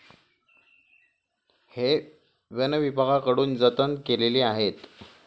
हे वनविभागाकडून जतन केलेली आहेत.